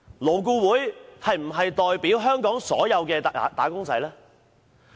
勞顧會真的代表香港所有"打工仔"嗎？